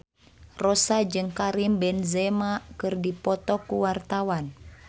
Rossa jeung Karim Benzema keur dipoto ku wartawan